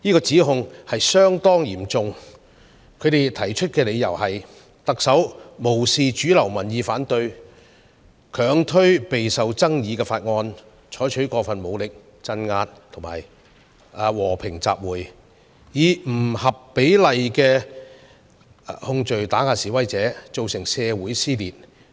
這項指控相當嚴重，他們提出的理由是特首無視主流民意反對，強推備受爭議的法案、採取過分武力鎮壓和平集會、以不合比例的控罪打壓示威者、造成社會撕裂。